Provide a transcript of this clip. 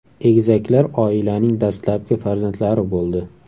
Egizaklar oilaning dastlabki farzandlari bo‘ldi.